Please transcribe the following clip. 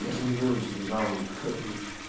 я же не ноюсь не жалуюсь как бы